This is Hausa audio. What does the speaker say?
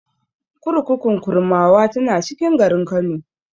Kurkukun Kurmawa tana cikin garin Kano.